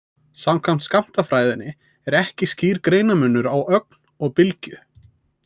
Samkvæmt skammtafræðinni er ekki skýr greinarmunur á ögn og bylgju.